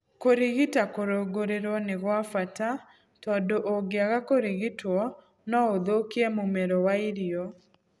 Kũrigita kũrũngũrĩrwo nĩ gwa bata tondũ ũngĩaga kũrigitwo no ũthũkie mũmero wa irio.